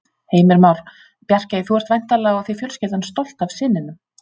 Heimir Már: Bjarkey, þú ert væntanlega og þið fjölskyldan stolt af syninum?